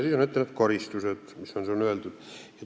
Siis on ette nähtud need karistused, mis on seal öeldud.